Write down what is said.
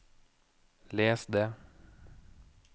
les det